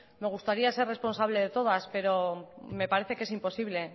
me gustaría ser responsable de todas pero me parece que es imposible